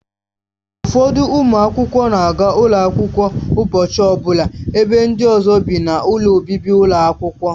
Ụfọdụ ụmụ akwụkwọ na-aga ụlọ akwụkwọ ụbọchị ọbụla ebe ndị ọzọ bi n'ụlọ obibi ụlọ akwụkwọ.